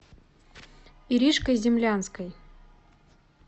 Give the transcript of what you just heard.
иришкой землянской